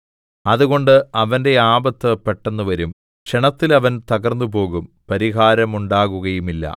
അതുകൊണ്ട് അവന്റെ ആപത്ത് പെട്ടെന്ന് വരും ക്ഷണത്തിൽ അവൻ തകർന്നുപോകും പരിഹാരമുണ്ടാകുകയുമില്ല